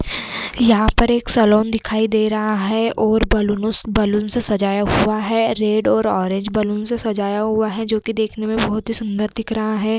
यहाँ पर एक सैलून दिखाई दे रहा है और बलूनो उस बैलून से सजाया हुआ है। रेड और ऑरेंज बैलून से सजाया हुआ है जोकि देखने में बोहोत ही सूंदर दिख रहा है।